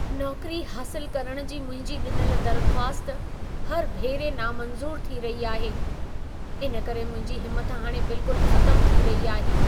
नौकरी हासिल करण जी मुंहिंजी ॾिनल दर्ख़्वास्त हर भेरे नामंज़ूर थी रही आहे। इन करे मुंहिंजी हिमथ हाणे बिल्कुलु ख़तमु थी रही आहे।